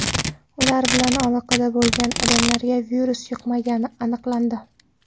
Ular bilan aloqada bo‘lgan odamlarga virus yuqmagani aniqlandi.